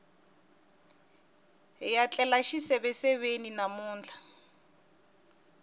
hiya tlela xiseveseveni namuntlha